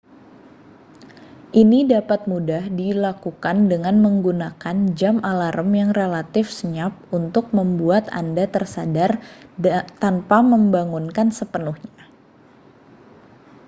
ini dapat mudah dilakukan dengan menggunakan jam alarm yang relatif senyap untuk membuat anda tersadar tanpa membangunkan sepenuhnya